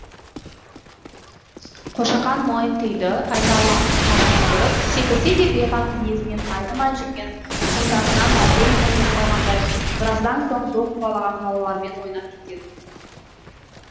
қошақан монтыйды айнала қашып жүгіріп секірсе де бейғам мінезінен айнымай жүрген тұқымдасынан әбден көңілі қалғандай біраздан соң доп қуалаған балалармен ойнап кететін